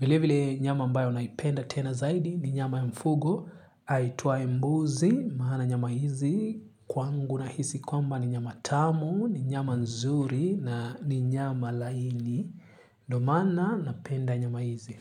Vile vile nyama ambayo naipenda tena zaidi ni nyama ya mfugo aitwaye mbuzi maana nyama hizi. Kwangu nahisi kwamba ni nyama tamu, ni nyama nzuri na ni nyama laini. Ndo maana napenda nyama hizi.